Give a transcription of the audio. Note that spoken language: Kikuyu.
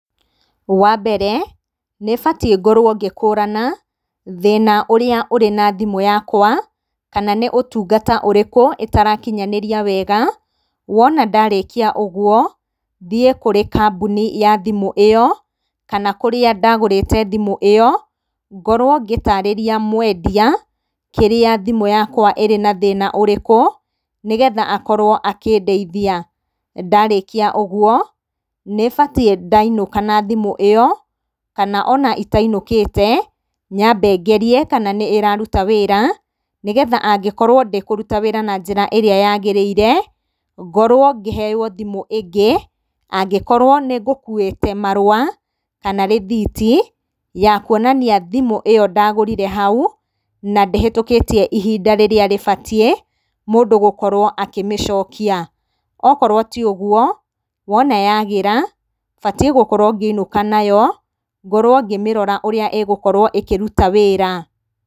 Wambere, nĩbatiĩ ngorwo ngĩkũrana, thĩna ũrĩa ũrĩ na thimũ yakwa, kana nĩ ũtungata ũrĩkũ ĩtarakinyanĩria wega, wona ndarĩkia ũguo, thiĩ kũrĩ kambuni ĩyo, kana kũrĩa ndagũrĩte thimũ ĩyo, ngorwo ngĩtarĩria mwendia, kĩrĩa thimũ yakwa ĩrĩ na thĩna ũrĩkũ, nĩgetha akorwo akĩndeithia. Ndarĩkia ũguo, nĩbatiĩ ndainũka na thimũ ĩyo, kana ona itainũkĩte, nyambe ngerie kana nĩ ĩraruta wĩra, nĩgetha angĩkorwo ndĩkũruta wĩra na njĩra ĩrĩa yagĩrĩire, ngorwo ngĩheyo thimũ ĩngĩ, angĩkorwo nĩ ngũkũwĩte marũa, kana rĩthiti, ya kuonania thimũ ĩyo ndagũrĩte hau, na ndĩhĩtũkĩtie ihinda rĩrĩa rĩbatiĩ mũndũ gũkorwo akĩmĩcokia. Okorwo tiũguo, wona yagĩra, batiĩ gũkorwo ngĩinũka nayo, ngorwo ngĩmĩrora ũrĩa ĩgũkorwo ĩkĩruta wĩra.